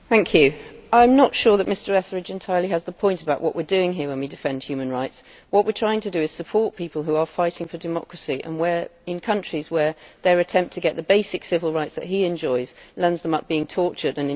I am not sure that Mr Etheridge entirely has the point about what we are doing here when we defend human rights. What we are trying to do is support people who are fighting for democracy and in countries where their attempt to get the basic civil rights that he enjoys lands them up being tortured and in jail.